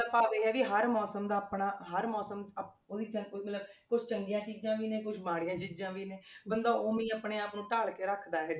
ਭਾਵ ਇਹ ਆ ਵੀ ਹਰ ਮੌਸਮ ਦਾ ਆਪਣਾ ਹਰ ਮੌਸਮ ਅਹ ਉਹਦੇ 'ਚ ਕੁੱਲ ਮਿਲਾ ਕੇ ਕੁਛ ਚੰਗੀਆਂ ਚੀਜ਼ਾਂ ਵੀ ਨੇ, ਕੁਛ ਮਾੜੀਆਂ ਚੀਜ਼ਾਂ ਵੀ ਨੇ, ਬੰਦਾ ਉਵੇਂ ਹੀ ਆਪਣੇ ਆਪ ਨੂੰ ਢਾਲ ਕੇ ਰੱਖਦਾ ਹੈ।